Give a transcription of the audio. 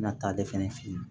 Na ta ale fɛnɛ fe yen